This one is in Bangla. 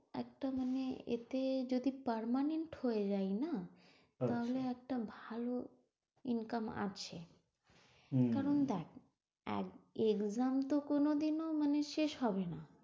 একটা মানে এতে যদি permanent হয়ে যাই না তাহলে একটা ভালো income আছে তখন দেখ এক exam তো কোনদিনও মানে শেষ হবে না।